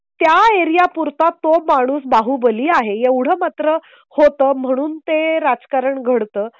त्याएरिया पुरता तो, माणूस बाहुबली आहे. एवढं मात्र होत म्हणून ते राजकारण घडतं